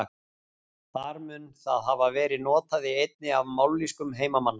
Þar mun það hafa verið notað í einni af mállýskum heimamanna.